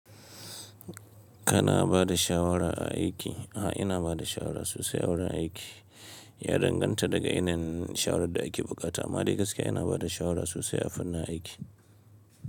Kana ba da shawara a aiki? A ina ba da shawara sosai a wurin aiki. Ya danganta daga irin shawarar da a ke buƙata. Amma dai gaskiya ina bada shawara sosai a fannin aiki.